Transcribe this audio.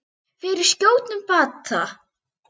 Fyrir skjótum bata.